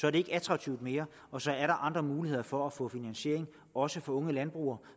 er det ikke attraktivt mere og så er der andre muligheder for at få finansiering også for unge landbrugere